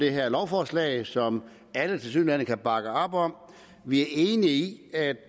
det her lovforslag som alle tilsyneladende kan bakke op om vi er enige i at